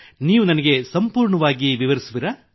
ನೀವು ನನಗೆ ಸಂಪೂರ್ಣವಾಗಿ ವಿವರಿಸುವಿರಾ